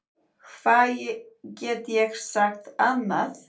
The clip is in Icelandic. Hvað get ég sagt annað?